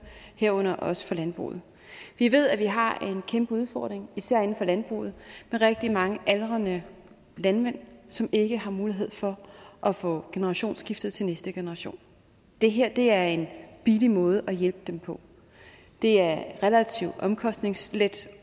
herunder også for landbruget vi ved at vi har en kæmpe udfordring især inden for landbruget med rigtig mange aldrende landmænd som ikke har mulighed for at få generationsskiftet til næste generation det her er en billig måde at hjælpe dem på det er relativt omkostningslet